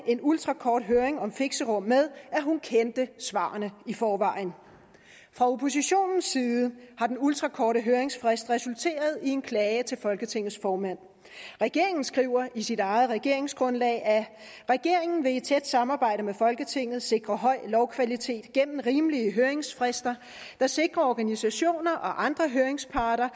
en ultrakort høring om fixerum med at hun kendte svarene i forvejen fra oppositionens side har den ultrakorte høringsfrist resulteret i en klage til folketingets formand regeringen skriver i sit eget regeringsgrundlag at regeringen i et tæt samarbejde med folketinget vil sikre høj lovkvalitet gennem rimelige høringsfrister der sikrer at organisationer og andre høringsparter